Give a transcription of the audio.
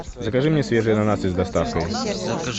закажи мне свежие ананасы с доставкой